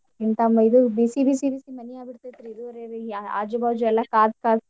ಹಿಂತಾವು ಇದು ಬಿಸಿ ಬಿಸಿ ಬಿಸಿ ಮನಿ ಆಗಿಬಿಡ್ತೈತ್ರಿ ಇದು ಅರೆರಿ ಆಜು ಬಾಜು ಎಲ್ಲಾ ಕಾದ್ ಕಾದ್.